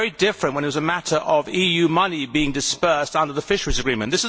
It was very different when it was a matter of EU money being disbursed under the fisheries agreement.